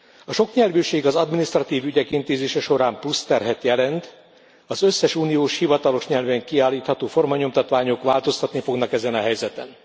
A soknyelvűség az adminisztratív ügyek intézése során plusz terhet jelent, az összes uniós hivatalos nyelven kiállítható formanyomtatványok változtatni fognak ezen a helyzeten.